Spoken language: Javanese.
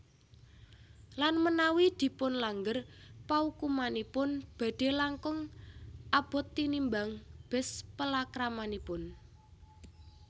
Lan menawi dipunlanggar paukumanipun badhe langkung abot tinimbang bes palakramanipun